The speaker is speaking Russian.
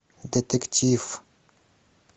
детектив